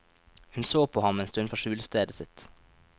Hun så på ham en stund fra skjulestedet sitt.